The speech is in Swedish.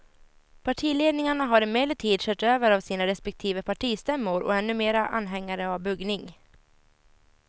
Partiledningarna har emellertid körts över av sina respektive partistämmor och är numera anhängare av buggning.